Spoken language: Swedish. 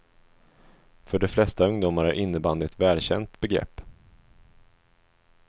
För de flesta ungdomar är innebandy ett välkänt begrepp.